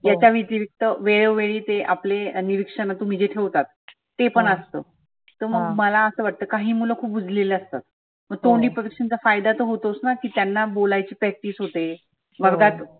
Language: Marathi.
याच्या व्यतितिक्त वेळोवेळी आपले ते जे निरीक्षने तुम्ही ठेवतात ते पण असतं. तर मग मला असं वाटतं काही मुल खुप उजलेले असतात. मग तोंडी परिक्षेचा फायदा तर होतोच. त्यांना बोलायची practice होते. वर्गात